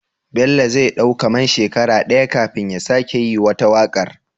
Bello zai dau kaman shekara daya kafin ya sake yi wata waƙar?